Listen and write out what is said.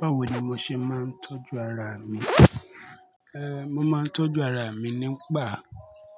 Báwo ni mo ṣe máa ń tọ́jú ara mi? Eh, mo máa ń tọ́jú ara mi nípa